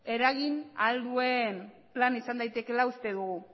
eragin ahal duen plana izan daitekeela uste dugu